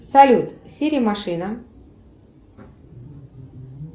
салют сири машина